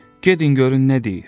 Gedin görün nə deyir.